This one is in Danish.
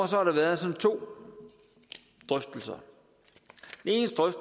sådan været to drøftelser